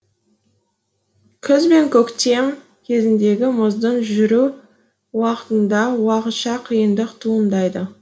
күз бен көктем кезіндегі мұздың жүру уақытында уақытша қиындық туындайды